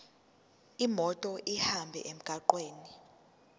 imoto ihambe emgwaqweni